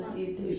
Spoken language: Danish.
Nej